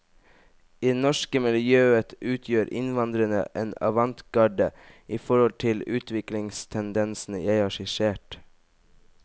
I det norske miljøet utgjør innvandrerne en avantgarde i forhold til utviklingstendensene jeg har skissert.